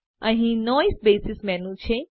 અહી noise basis menu છે